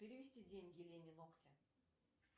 перевести деньги лене ногти